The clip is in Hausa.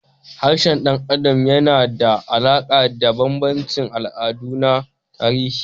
Harshen ɗan adam yana da alaƙa da bambancin al'adu da na tarihi.